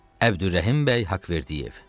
Abdürrəhim bəy Haqverdiyev.